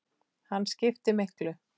Hann skiptir miklu.